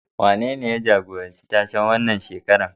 Wanene ya jagoranci tashen wannan shekarar?